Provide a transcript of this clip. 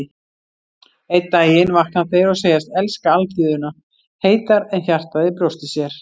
Einn daginn vakna þeir og segjast elska alþýðuna heitar en hjartað í brjósti sér.